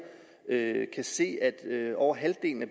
kan se at over halvdelen af